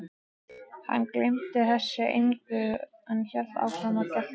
Hann gegndi þessu engu en hélt áfram að gelta.